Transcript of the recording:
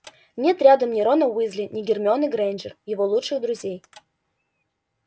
нет рядом ни рона уизли ни гермионы грэйнджер его лучших друзей